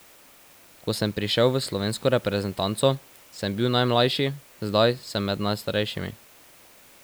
Ko sem prišel v slovensko reprezentanco, sem bil najmlajši, zdaj sem med najstarejšimi.